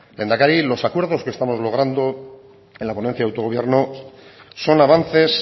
lehendakari los acuerdos que estamos logrando en la ponencia de autogobierno son avances